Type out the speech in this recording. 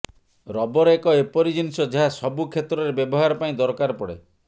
rubber ଏକ ଏପରି ଜିନିଷ ଯାହା ସବୁ କ୍ଷେତ୍ରରେ ବ୍ୟବହାର ପାଇଁ ଦରକାର ପଡେ